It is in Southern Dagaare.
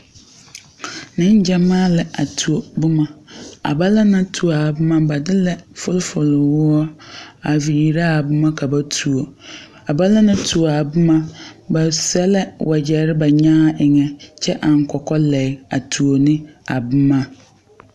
Neŋgyamaa la a tuo boma a bana naŋ tuo a boma ba de la fufulwoɔre a viiri a boma ka ba tuo a bana naŋ tuo a boma ba sɛ la wagyɛre ba nyaa eŋɛ kyɛ eŋ kɔkɔlegre a tuo ne a boma.